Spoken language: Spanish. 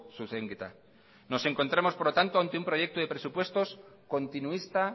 zuzenketa nos encontramos por lo tanto ante un proyecto de presupuestos continuista